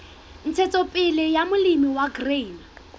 ntshetsopele ya molemi wa grain